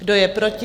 Kdo je proti?